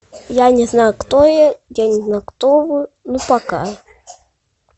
я не знаю кто я я не знаю кто вы ну пока